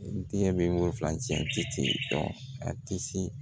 N tɛ wo fila cɛ ci dɔn a tɛ se